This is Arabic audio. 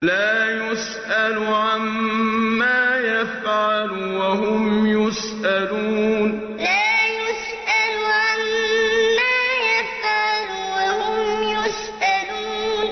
لَا يُسْأَلُ عَمَّا يَفْعَلُ وَهُمْ يُسْأَلُونَ لَا يُسْأَلُ عَمَّا يَفْعَلُ وَهُمْ يُسْأَلُونَ